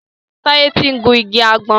Taye tí ń gún ìgi àgbon.